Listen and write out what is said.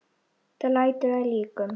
Þetta lætur að líkum.